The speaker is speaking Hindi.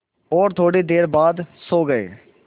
और थोड़ी देर बाद सो गए